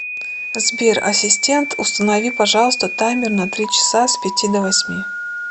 сбер ассистент установи пожалуйста таймер на три часа с пяти до восьми